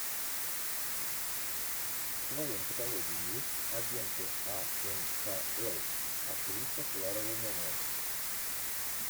в твоем каталоге есть агенты анкл актриса клара румянова